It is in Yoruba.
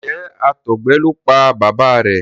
Njé àtọgbẹ ló pá bàbá rẹ?